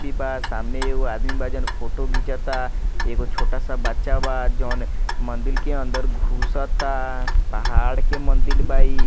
भी बा सामने एगो आदमी बा जौन फोटो घिंचता एगो छोटा सा बच्चा बा जौन मंदिर के अंदर घुसता पहाड़ के मंदिर बा ई।